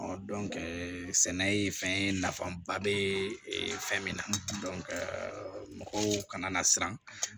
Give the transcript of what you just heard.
sɛnɛ ye fɛn ye nafaba bɛ fɛn min na mɔgɔw kana na siran